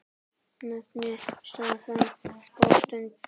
Nefndi stað og stund.